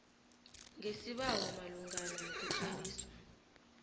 ngesibawo malungana nokutloliswa